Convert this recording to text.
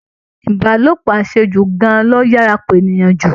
Ìbálòpọ̀ àṣejù gan-an ló yára pa èèyàn jù